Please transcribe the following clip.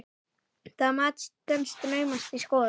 Það mat stenst naumast skoðun.